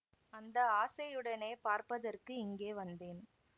அந்த ஆசையுடனே பார்ப்பதற்கு இங்கே வந்தேன்